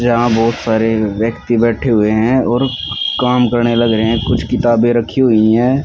यहाँ बहोत सारे व्यक्ति बैठे हुए है और काम करने लगे हैं। कुछ किताबे रखी हुई हैं।